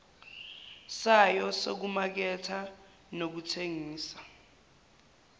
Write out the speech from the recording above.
sayo sokumaketha nokuthengisa